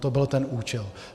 To byl ten účel.